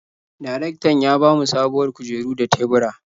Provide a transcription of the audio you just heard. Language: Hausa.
Darektan ya ba mu sabuwar kujeru da tebura.